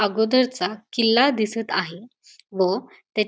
अगोदरचा किल्ला दिसत आहे व त्या--